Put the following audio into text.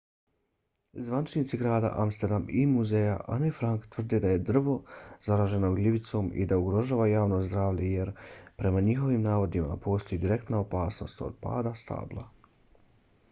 zvaničnici grada amsterdama i muzej ane frank tvrde da je drvo zaraženo gljivicom i da ugrožava javno zdravlje jer prema njihovim navodima postoji direktna opasnost od pada stabla